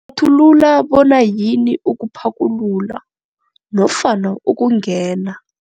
Hlathulula bona yini ukuphakulula nofana ukungena.